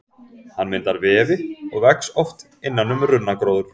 Hann myndar vefi og vex oft innan um runnagróður.